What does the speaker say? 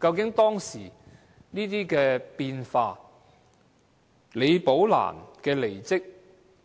究竟當時這些變化、李寶蘭的離職，